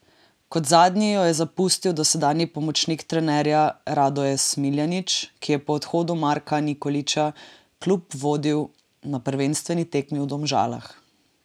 Kot zadnji jo je zapustil dosedanji pomočnik trenerja Radoje Smiljanić, ki je po odhodu Marka Nikolića klub vodil na prvenstveni tekmi v Domžalah.